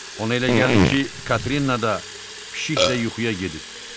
Ona elə gəldi ki, Katrina da, pişik də yuxuya gedib.